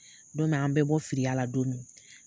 Don min an bɛ bɔ firiya la don min,